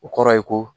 O kɔrɔ ye ko